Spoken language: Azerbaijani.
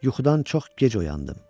Yuxudan çox gec oyandım.